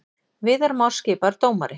Viðar Már skipaður dómari